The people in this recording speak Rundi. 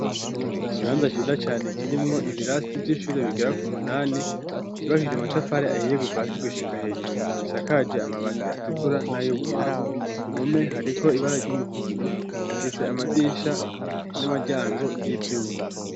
kibanza chiza cyane kirimwo ibirasti by'ishure bigera ku munani kibakije amatafari ahiye guva asi gushika hejuru misakaje amabati atukura n'ay'ubururu ku mume hariko ibara ry'umuhondo ifise amadisha n'amaryango y'ivyumaI.